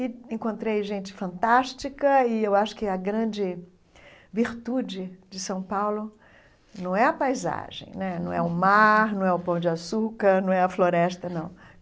E encontrei gente fantástica e eu acho que a grande virtude de São Paulo não é a paisagem né, não é o mar, não é o pão de açúcar, não é a floresta, não.